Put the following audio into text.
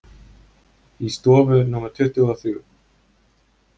Í stofu númer tuttugu og þrjú.